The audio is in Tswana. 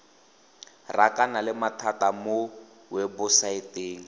rakana le mathata mo webosaeteng